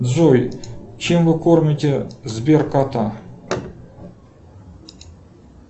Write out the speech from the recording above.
джой чем вы кормите сбер кота